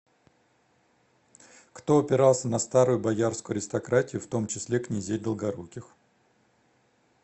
кто опирался на старую боярскую аристократию в том числе князей долгоруких